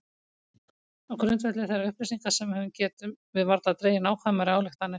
Á grundvelli þeirra upplýsinga sem við höfum getum við varla dregið nákvæmari ályktanir.